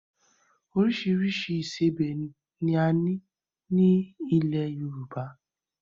Oríṣiríṣi ìsebẹ́ ni a ní, ní ilẹ́ Yorùbá